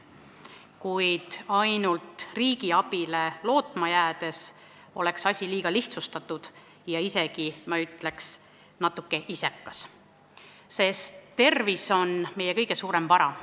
Kuid ainult riigi abile lootma jäädes oleks asi liiga lihtsustatud ja isegi, ma ütleks, natuke isekas, sest tervis on meie kõige suurem vara.